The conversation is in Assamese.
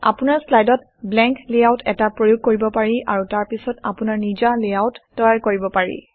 আপোনাৰ শ্লাইডত ব্লেংক লেআউট এটা প্ৰয়োগ কৰিব পাৰে আৰু তাৰপিছত আপোনাৰ নিজা লেআউট তৈয়াৰ কৰিব পাৰে